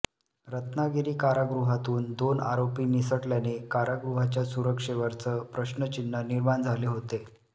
रत्नागिरी कारागृहातून दोन आरोपी निसटल्याने कारागृहाच्या सुरक्षेवरच प्रश्नचिन्ह निर्माण झाले होते